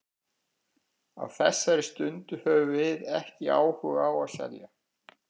Á þessari stundu höfum við ekki áhuga á að selja.